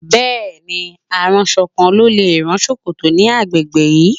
Bẹ́ẹ̀ ni, aránṣọ kan ló lè rán ṣòkòtò ní agbègbè yìí.